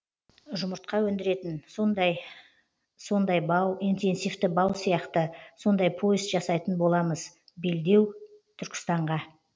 жұмыртқа өндіретін сондай сондай бау интенсивті бау сияқты сондай пояс жасайтын боламыз белдеу түркістанға